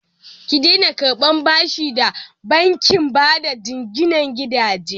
Ki daina karɓan bashi da bankin bada jinginan gidaje!